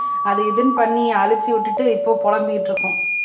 அது இதுன்னு பண்ணி அழுச்சு விட்டுட்டு இப்ப புலம்பிட்டிருக்கோம்